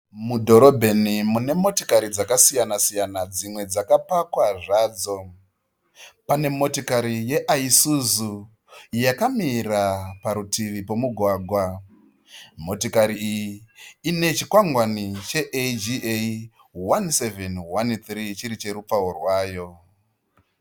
Mudhorobheni mune motikari dzakasiyana-siyana dzimwe dzakapakwa zvadzo. Pane motikari yeIsuzu yakamira parutivi pemugwagwa. Motikari iyi ine chikwangwani cheAGA 1713 chiri cherupawo rwayo